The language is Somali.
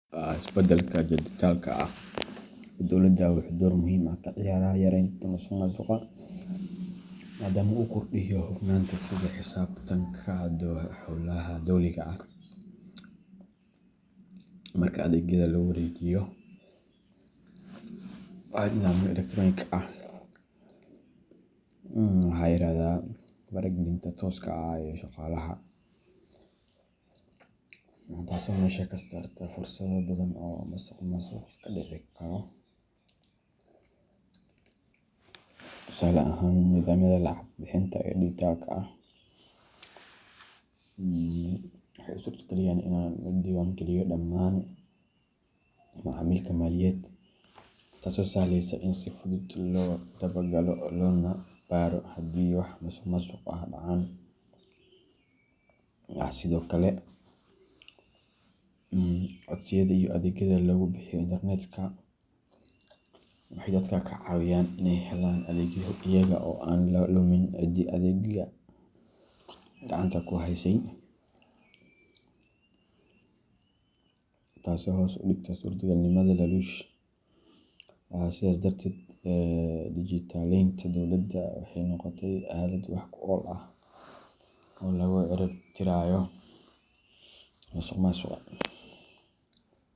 Isbeddelka dijitaalka ah ee dowladda wuxuu door muhiim ah ka ciyaaraa yareynta musuqmaasuqa, maadaama uu kordhiyo hufnaanta iyo isla xisaabtanka howlaha dowliga ah. Marka adeegyada lagu wareejiyo nidaamyo elektaroonig ah, waxaa yaraada faragelinta tooska ah ee shaqaalaha, taasoo meesha ka saarta fursado badan oo musuqmaasuq ka dhici karo. Tusaale ahaan, nidaamyada lacag bixinta ee dijitaalka ah waxay u suurtageliyaan in la diiwaangeliyo dhammaan macaamilka maaliyadeed, taasoo sahleysa in si fudud loo daba galo loona baaro haddii wax musuqmaasuq ah dhacaan. Sidoo kale, codsiyada iyo adeegyada lagu bixiyo internet-ka waxay dadka ka caawiyaan in ay helaan adeegyo iyaga oo aan la kulmin ciddii adeegga gacanta ku haysay, taasoo hoos u dhigta suurtagalnimada laaluush. Sidaas darteed, dijitaleynta dowladda waxay noqotay aalad wax ku ool ah oo lagu cirib tirayo musuqmaasuqa.